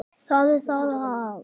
Hvað hafði orðið um Sólu?